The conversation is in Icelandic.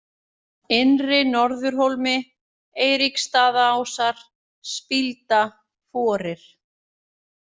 Innri-Norðurhólmi, Eiríksstaðaásar, Spílda, Forir